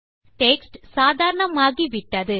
text சாதாரணமாகி விட்டது